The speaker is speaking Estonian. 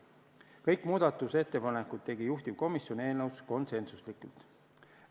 Kõik muudatusettepanekud tegi juhtivkomisjon eelnõus konsensuslikult.